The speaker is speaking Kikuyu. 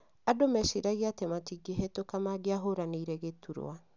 Andũ mechiragia atĩ matingĩhetũka mangĩahũranĩire gĩturwa